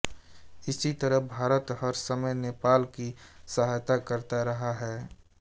इसी तरह भारत हर समय नेपाल की सहायता करता रहा है